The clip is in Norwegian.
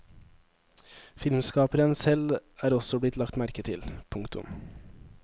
Filmskaperen selv er også blitt lagt merke til. punktum